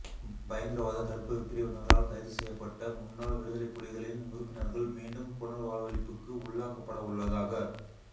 பயங்கரவாத தடுப்பு பிரிவினால் கைது செய்யப்பட்ட முன்னாள் விடுதலைப் புலிகளின் உறுப்பினர்கள் மீண்டும் புனர்வாழ்வளிப்புக்கு உள்ளாக்கப்படவுள்ளதாக